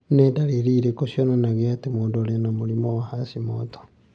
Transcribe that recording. Nĩ ndariri irĩkũ cionanagia atĩ mũndũ arĩ na mũrimũ wa Hashimoto's encephalitis?